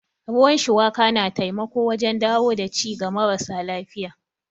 Ruwan shuwaka na taimako wajen dawo da ci ga marasa lafiya.